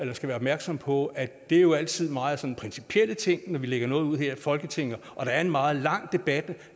vi skal være opmærksomme på at det jo altid er meget sådan principielle ting når vi lægger noget ud her i folketinget og der er en meget lang debat